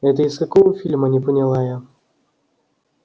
это из какого фильма не поняла я